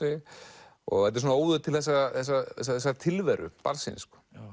þetta er svona óður til þessarar tilveru barnsins